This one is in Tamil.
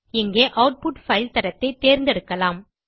இங்கே ஆட்புட் பைல் தரத்தை தேர்ந்தெடுக்கலாம்